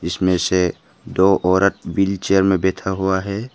इसमें से दो औरत व्हील चेयर में बैठा हुआ है।